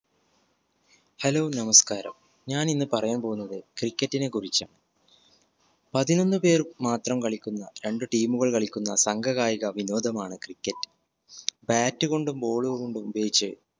hello നമസ്കാരം ഞാൻ ഇന്ന് പറയാൻ പോകുന്നത് cricket നെ കുറിച്ചാ. പതിനൊന്ന് പേർ മാത്രം കളിക്കുന്ന രണ്ട് team ഉകൾ കളിക്കുന്ന സംഘ കായിക വിനോദമാണ് cricket bat കൊണ്ടും ball കൊണ്ടും ഉപയോഗിച്ച്